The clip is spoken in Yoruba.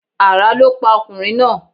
Àrá lọ pa ọkùnrin náà.